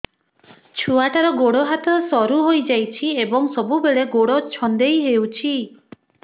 ଛୁଆଟାର ଗୋଡ଼ ହାତ ସରୁ ହୋଇଯାଇଛି ଏବଂ ସବୁବେଳେ ଗୋଡ଼ ଛଂଦେଇ ହେଉଛି